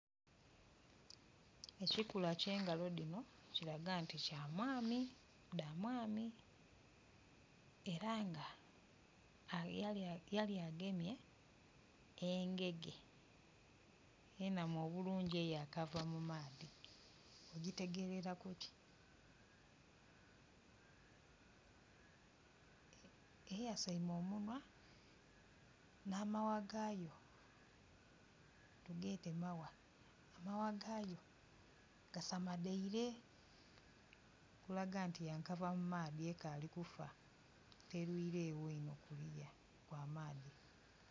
Ekikula eky'engalo dhino kiraga nti dha mwami, era nga yali agemye engege enamu obulungi eyakava mu maadhi, okitegerera kuki? Eyasaime omunhwa, namagha gaayo, tugeete magha. N'amagha gaayo ga sadamaile okulaga nti ya kava mu maadhi ekaali kufa, telwiilegho inho bukya eva mu maadhi.